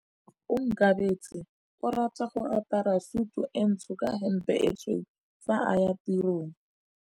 Onkabetse o rata go apara sutu e ntsho ka hempe e tshweu fa a ya tirong.